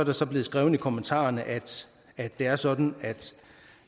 er så blevet skrevet i kommentarerne at det er sådan